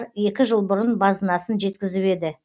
екі жыл бұрын базынасын жеткізіп еді